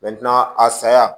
a saya